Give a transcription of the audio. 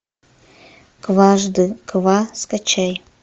кважды ква скачай